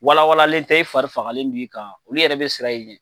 Walawalanlen tɛ e fari fagalen b'i kan olu yɛrɛ bɛ siran i ɲɛ